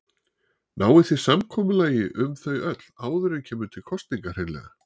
Náið þið samkomulagi um þau öll áður en kemur til kosninga hreinlega?